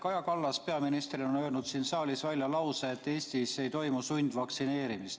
Kaja Kallas, peaminister, on öelnud siin saalis välja lause, et Eestis ei toimu sundvaktsineerimist.